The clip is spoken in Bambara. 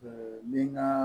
den ka